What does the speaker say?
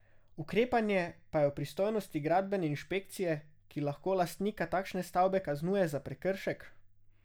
Ukrepanje pa je v pristojnosti gradbene inšpekcije, ki lahko lastnika takšne stavbe kaznuje za prekršek.